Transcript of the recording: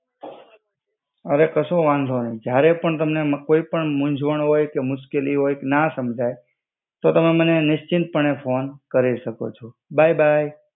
હવે કસુ વાંધો નહી જ્યારે પણ તમને કોઇ પણ મુંજવણ હોઇ કે મુસ્કેલી હોઇ ક ના સમજઈ તો તમે મને નિસ્ચિંત પણે ફોન કરી શકો છો બાય બાય.